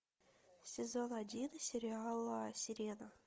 сезон один сериала сирена